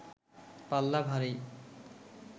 পাল্লা ভারী